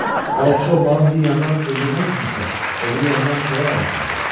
Balıqçı olmağın bir yandan öldürmək üçündürsə, o biri yandan çörək ağacımdır.